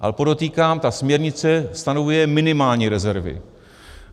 Ale podotýkám, ta směrnice stanovuje minimální rezervy.